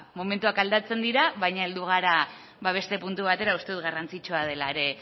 momentuak aldatzen dira baina heldu gara beste puntu batera uste dut garrantzitsua dela ere